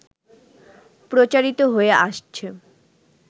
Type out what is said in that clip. প্রচারিত হয়ে আসছে